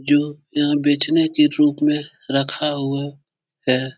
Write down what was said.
जो यहाँ बेचने के रूप में रखा हुआ है।